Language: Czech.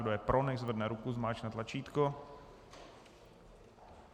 Kdo je pro, nechť zvedne ruku, zmáčkne tlačítko.